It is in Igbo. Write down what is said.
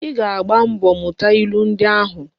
I ga-agba mbo muta ilu ndi ahu!